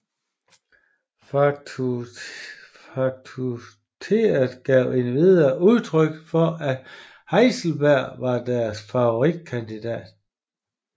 Fakultetet gav endvidere udtryk for at Heisenberg var deres favoritkandidat